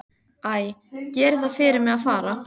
Æ, gerið það fyrir mig að fara.